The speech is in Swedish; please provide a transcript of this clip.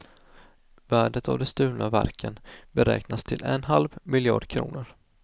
Värdet av de stulna verken beräknas till en halv miljard kronor.